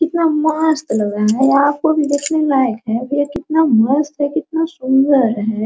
कितना मस्त लग रहा है यहाँ पर देखने लायक हैकितना मस्त है कितना सुन्दर है।